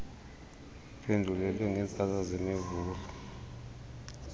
iphendulwe ngeentsasa zemivulo